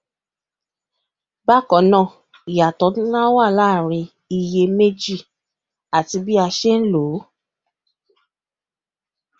bákanáà iyatọ nlá wà láàrin iye meji àti bí wọn ṣe lòó